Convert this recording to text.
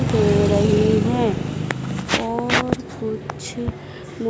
सो रही हैं और कुछ मु--